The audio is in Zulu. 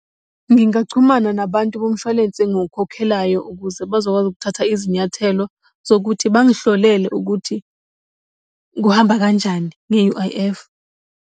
Ngingachumana nabantu bomshwalense engukhokhelayo ukuze bezokwazi ukuthatha izinyathelo zokuthi bangihlolele ukuthi kuhamba kanjani nge-U_I_F.